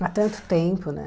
Há tanto tempo, né?